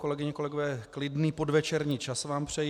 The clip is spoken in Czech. Kolegyně, kolegové, klidný podvečerní čas vám přeji.